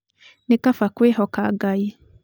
nĩ Kaba kũĩhoka Ngai